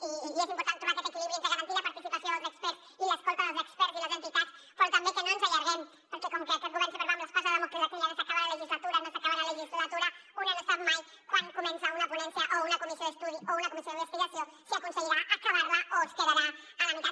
i és important trobar aquest equilibri entre garantir la participació dels experts i l’escolta dels experts i les entitats però també que no ens allarguem perquè com que aquest govern sempre va amb l’espasa de dàmocles aquella de s’acaba la legislatura no s’acaba la legislatura una no sap mai quan comença una ponència o una comissió d’estudi o una comissió d’investigació si aconseguirà acabar la o es quedarà a la meitat